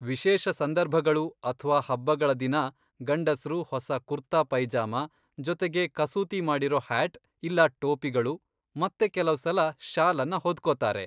ವಿಶೇಷ ಸಂದರ್ಭಗಳು ಅಥ್ವಾ ಹಬ್ಬಗಳ ದಿನ ಗಂಡಸ್ರು ಹೊಸ ಕುರ್ತಾ ಪೈಜಾಮ ಜೊತೆಗೆ ಕಸೂತಿ ಮಾಡಿರೋ ಹ್ಯಾಟ್ ಇಲ್ಲಾ ಟೋಪಿಗಳು ಮತ್ತೆ ಕೆಲವ್ಸಲ ಶಾಲನ್ನ ಹೊದ್ಕೊತಾರೆ.